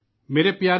نئی دلّی ،25 /